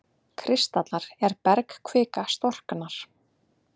kristallar er bergkvika storknar.